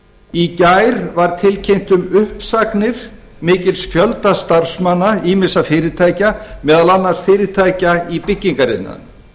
í gær var tilkynnt um uppsagnir mikils fjölda starfsmanna ýmissa fyrirtækja meðal annars fyrirtækja í byggingariðnaðinum